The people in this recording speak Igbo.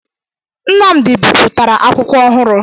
Nnamdị bipụtara akwụkwọ ọhụrụ